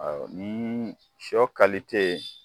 Ɔ ni sɔ